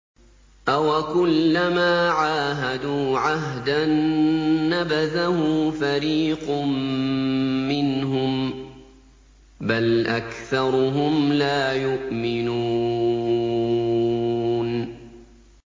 أَوَكُلَّمَا عَاهَدُوا عَهْدًا نَّبَذَهُ فَرِيقٌ مِّنْهُم ۚ بَلْ أَكْثَرُهُمْ لَا يُؤْمِنُونَ